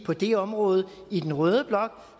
på det område i den røde blok